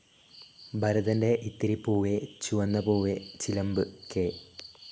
ഭരതൻ്റെ ഇത്തിരി പൂവേ ചുവന്ന പൂവേ, ചിലംബ്, കെ.